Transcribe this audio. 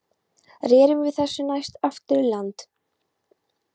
Rerum við þessu næst aftur í land.